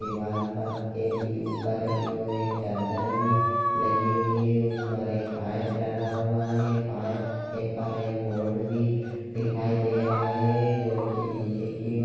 दीवाल पक्के पी ऊपर की ओर एक चद्दर भी लगी हुई है उस पर एक पाईप लगा हुआ है पाईप के उपर एक बोर्ड भी दिखाई दे रहा है जो की नीचे की ओ--